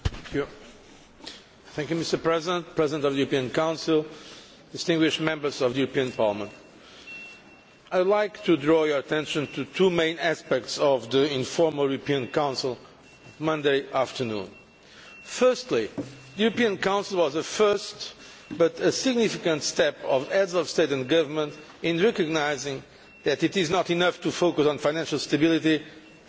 Mr President, President of the European Council, distinguished Members of the European Parliament, I would like to draw your attention to two main aspects of the informal European Council on Monday afternoon. Firstly, the European Council was a first but a significant step by Heads of State or Government in recognising that it is not enough to focus on financial stability and economic discipline alone.